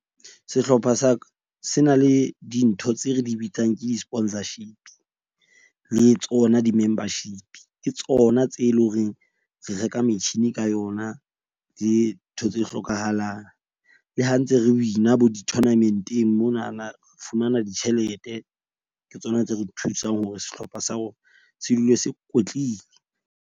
Sehlopha sa ka se na le dintho tse re di bitsang ke di sponsorship-i. Le tsona di-membership-i. Ke tsona tse leng horeng re reka metjhini ka yona dintho tse hlokahalang. Le ha ntse re win-a bo di-tournament-eng, monana re fumana ditjhelete ke tsona tse re thusang hore sehlopha sa rona se dule se kwetlile.